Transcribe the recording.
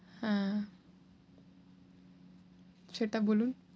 হ্যাঁ। সেটা বলুন।